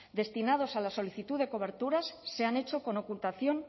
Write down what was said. destinados a la solicitud de coberturas se han hecho con ocultación